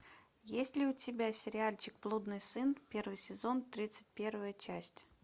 есть ли у тебя сериальчик блудный сын первый сезон тридцать первая часть